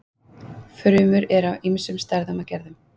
Frumur eru af ýmsum stærðum og gerðum.